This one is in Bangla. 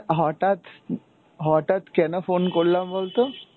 হটাৎ, হটাৎ কেন phone করলাম বলতো?